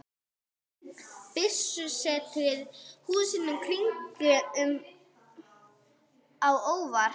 Biskupssetrið, húsin í kringum kirkjuna, komu honum ekki á óvart.